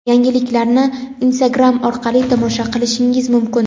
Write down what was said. Yangiliklarni Instagram orqali tomosha qilishingiz mumkin.